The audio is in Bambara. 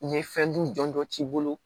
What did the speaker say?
U ye fɛn dun jɔnjɔ k'i bolo